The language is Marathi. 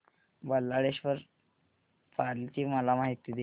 बल्लाळेश्वर पाली ची मला माहिती दे